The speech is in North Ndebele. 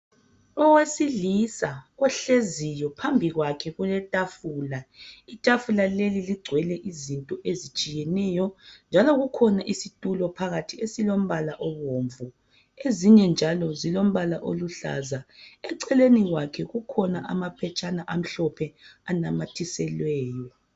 Owesilisa ohleziyo phambi kwakhe kuletafula itafula leli lingcwele izinto ezitshiyeneyo njalo kukhona isitulo phakathi esilo mbala obumvu ezinye njalo zilombala oluhlaza eceleni kwakhe kukhona amaphetshana amhlophe anamathiselweyo